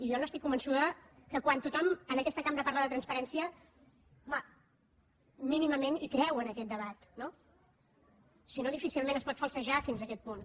jo n’estic convençuda que quan tothom en aquesta cambra parla de transparència home mínimament hi creu en aquest debat no si no difícilment es pot falsejar fins aquest punt